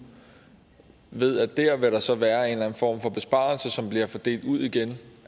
ved at dér vil der så være en eller form for besparelse som vil blive delt ud igen